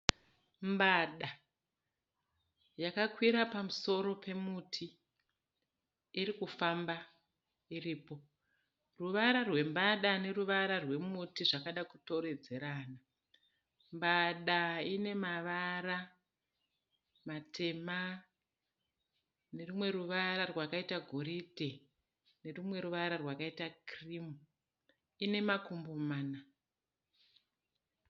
Mbada yakakwira pamusoro pemuti. Iri kufamba iripo. Ruvara rwembada neruvara rwemuti zvakada kutoredzerana. Mbada ine ruvara matema nerumwe ruvara rwakaita goridhe nerumwe ruvara rwakaita kirimu. Ine makumbo mana.